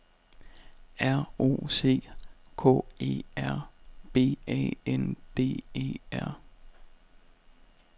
R O C K E R B A N D E R